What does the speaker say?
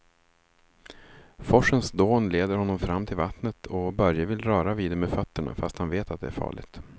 Forsens dån leder honom fram till vattnet och Börje vill röra vid det med fötterna, fast han vet att det är farligt.